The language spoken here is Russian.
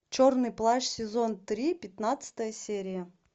черный плащ сезон три пятнадцатая серия